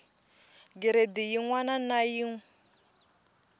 giredi yin wana na yin